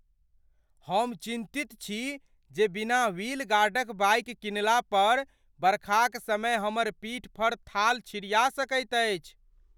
हम चिन्तित छी जे बिना व्हील गार्डक बाइक किनला पर बरखाक समय हमर पीठ पर थाल छिड़िया सकैत अछि।